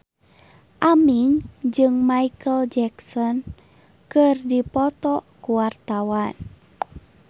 Aming jeung Micheal Jackson keur dipoto ku wartawan